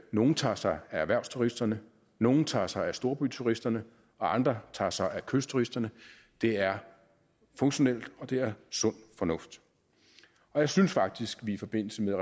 nogle tager sig af erhvervsturisterne nogle tager sig af storbyturisterne og andre tager sig af kystturisterne det er funktionelt og det er sund fornuft jeg synes faktisk at vi i forbindelse med